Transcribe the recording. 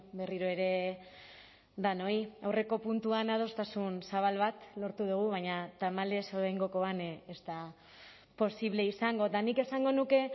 berriro ere denoi aurreko puntuan adostasun zabal bat lortu dugu baina tamalez oraingokoan ez da posible izango eta nik esango nuke